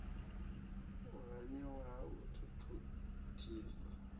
u haniwa ha u thuthisa